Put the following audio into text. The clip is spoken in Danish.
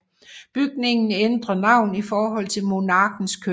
Bygningen ændrer navn i forhold til monarkens køn